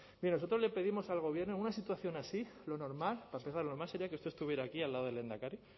mire nosotros le pedimos al gobierno en una situación así lo normal para empezar lo normal sería que usted estuviera aquí al lado del lehendakari